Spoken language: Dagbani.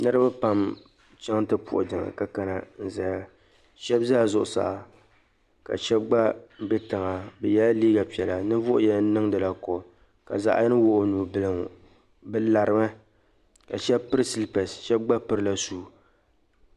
Niriba pam chaŋ nti puhi jiŋli ka kana n-zaya. Shɛba zala zuɣusaa ka shɛba gba be tiŋa bɛ yɛla liiga piɛla ninvuɣ' yini niŋdila kooli ka zaɣ' yini wuɣi o nubila ŋ-ŋɔ. Bɛ larimi ka shɛba piri silipɛsi shɛba gba pirila shuu.